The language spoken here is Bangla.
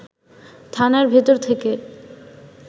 থানার ভেতর থেকে